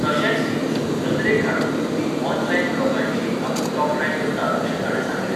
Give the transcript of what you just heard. तशेंच ही चूक नदरेक हाडून दिवपी ऑनलायन ब्लॉगांचीय आपूण तोखणाय करता अशें ताणें सांगलें.